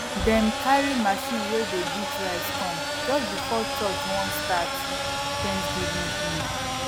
dem carry machine wey dey beat rice come just before church wan start thanksgiving hymn